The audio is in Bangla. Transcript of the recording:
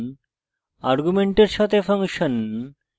perl ফাংশন arguments সাথে ফাংশন